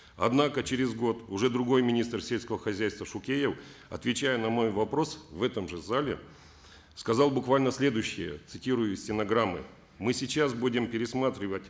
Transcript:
однако через год уже другой министр сельского хозяйства шукеев отвечая на мой вопрос в этом же зале сказал буквально следующее цитирую из стенограммы мы сейчас будем пересматривать